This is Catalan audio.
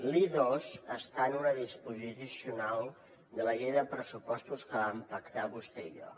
l’i2 està en una disposició addicional de la llei de pressupostos que vam pactar vostè i jo